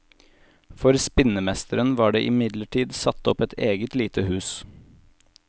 For spinnemesteren var det imidlertid satt opp et eget lite hus.